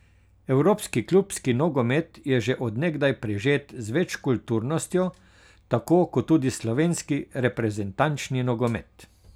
Evropski klubski nogomet je že od nekdaj prežet z večkulturnostjo, tako kot tudi slovenski reprezentančni nogomet.